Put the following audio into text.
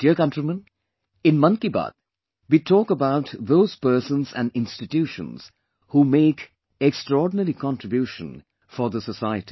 My dear countrymen, in "Mann Ki Baat", we talk about those persons and institutions who make extraordinary contribution for the society